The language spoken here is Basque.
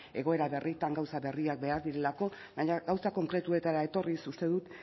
egoera berrietan gauza berriak behar direlako baina gauzak konkretuetara etorriz uste dut